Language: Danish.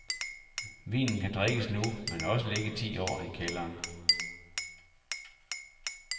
Vinen kan drikkes nu, men også ligge ti år i kælderen.